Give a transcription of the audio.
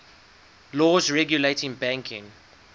laws regulating banking